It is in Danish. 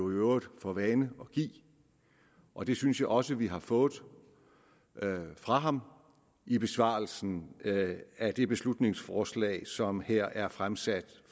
øvrigt for vane at give og det synes jeg også vi har fået fra ham i besvarelsen af det beslutningsforslag som her er fremsat